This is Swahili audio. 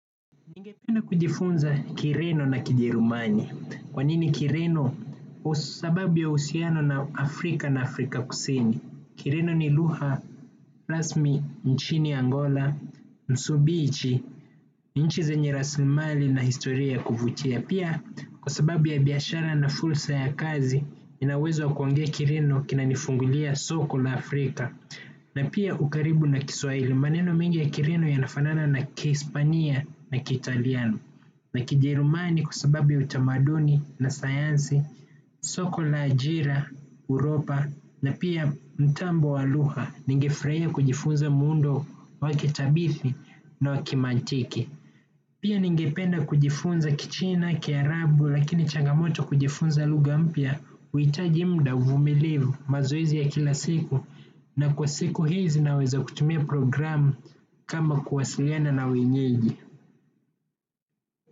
Ningependa kujifunza Kireno na Kijerumani, kwa nini Kireno? Kwa sababu ya uhusiano na Afrika na Afrika kusini. Kireno ni luha, rasmi, nchini Angola, msumbiji, nchi zenye rasimali na historia ya kuvutia. Pia, kwa sababu ya biashara na fursa ya kazi, ninawezo wakuongea Kireno kinanifungulia soko la Afrika. Na pia ukaribu na Kiswahili maneno mingi ya Kireno yanafanana na kiespania na kitaliano na kijirumani kwa sababu ya utamaduni na sayansi, soko la ajira, uropa na pia mtambo waluha ningefurahia kujifunza muundo wakitabithi na wakimantiki. Pia ningependa kujifunza Kichina, Kiarabu, lakini chagamoto kujifunza lugha mpya, uhitaji muda, uvumilivu, mazoezi ya kila siku. Na kwa siku hizi naweza kutumia programu. Kama kuwasiliana na wenyeji.